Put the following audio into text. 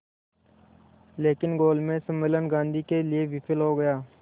लेकिन गोलमेज सम्मेलन गांधी के लिए विफल हो गया